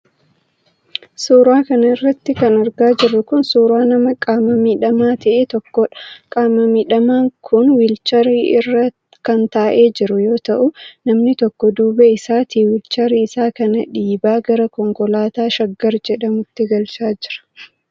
Suura kana irratti kan argaa jirru kun ,suura nama qaama miidhamaa ta'e tokkoodha. Qaama miidhamaan kun wiilcharii irra kan taa'ee jiru yoo ta'u ,namni tokko duuba isaatii wiilcharii isaa kana dhiibaa gara konkolaataa shaggar jedhamuutti galchaa jira.